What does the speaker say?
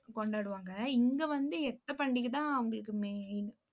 கொண்டாடுவாங்க இங்க வந்து எத்த பண்டிகைதான் அவங்களுக்கு main